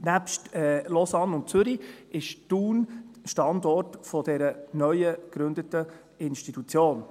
Nebst Lausanne und Zürich ist Thun Standort dieser neu gegründeten Institution.